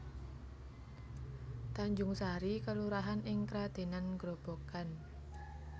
Tanjungsari kelurahan ing Kradenan Grobogan